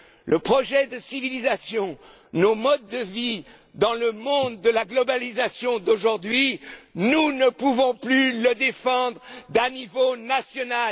Le projet de civilisation, nos modes de vie dans le monde de la globalisation d'aujourd'hui, nous ne pouvons plus les défendre au niveau